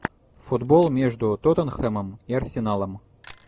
футбол между тоттенхэмом и арсеналом